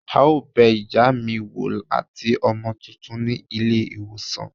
a o bè iyá mí woo atí ọmọ túntún ní ilé iwosàn.